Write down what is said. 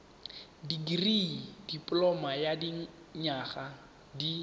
dikirii dipoloma ya dinyaga di